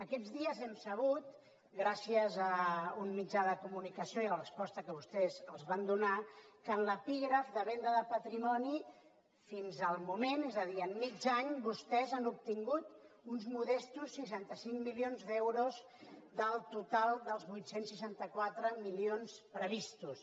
aquests dies hem sabut gràcies a un mitjà de comunicació i la resposta que vostès els van donar que en l’epígraf de venda de patrimoni fins el moment és a dir en mig any vostès han obtingut uns modestos seixanta cinc milions d’euros del total dels vuit cents i seixanta quatre milions previstos